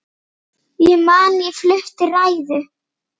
Ég man ég flutti ræðu.